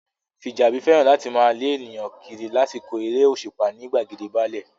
Fìjàbí fẹ́ràn láti máa lé ènìyàn kiri lásìkò eré òṣùpá ní gbàgede báálẹ̀